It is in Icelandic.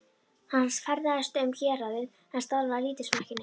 Hann ferðaðist um héraðið en starfaði lítið sem ekki neitt.